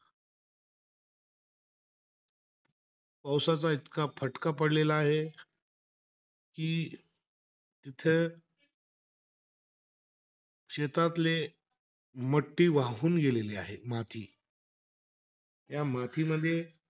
पावसाचा इतका फटका पडलेला आहे. कि तिथे शेतातले वाहून गेलेली आहे, माती. त्या मातीमध्ये,